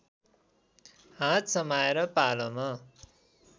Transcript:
हात समाएर पालाम